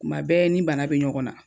Kuma bɛɛ n ni bana be ɲɔgɔn na